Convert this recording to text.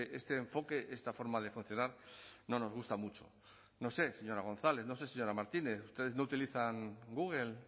este enfoque esta forma de funcionar no nos gusta mucho no sé señora gonzález no sé señora martínez ustedes no utilizan google